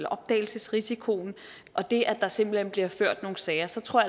opdagelsesrisikoen og det at der simpelt hen bliver ført nogle sager så tror